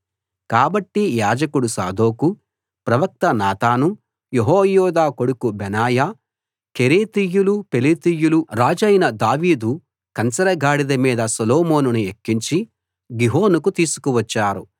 కాబట్టి యాజకుడు సాదోకు ప్రవక్త నాతాను యెహోయాదా కొడుకు బెనాయా కెరేతీయులు పెలేతీయులు రాజైన దావీదు కంచరగాడిద మీద సొలొమోనుని ఎక్కించి గిహోనుకు తీసుకు వచ్చారు